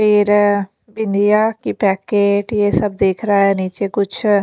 फिर बिंदिया की पैकेट ये सब देख रहा है नीचे कुछ--